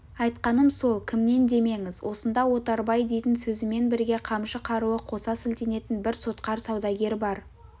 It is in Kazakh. айтқаным сол кімнен демеңіз осында отарбай дейтін сөзімен бірге қамшы қаруы қоса сілтенетін бір сотқар саудагер бар